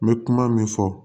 N bɛ kuma min fɔ